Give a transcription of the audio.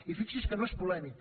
i fixi’s que no és polèmic